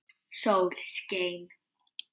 Sól skein.